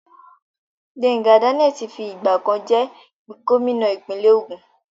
Gbenga Daniel ti fi ìgbà kan jẹ́ gómìnà ìpínlẹ̀ Ògùn.